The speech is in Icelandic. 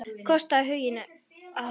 Kostaðu huginn að herða.